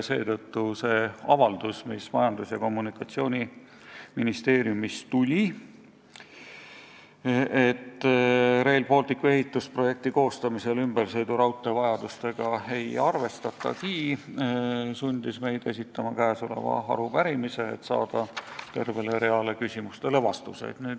Seetõttu sundis Majandus- ja Kommunikatsiooniministeeriumi avaldus, et Rail Balticu ehitusprojekti koostamisel ümbersõiduraudtee vajadustega ei arvestatagi, meid esitama käesoleva arupärimise, et saada tervele reale küsimustele vastused.